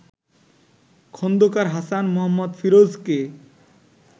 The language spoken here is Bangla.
খন্দকার হাসান মোঃ ফিরোজকে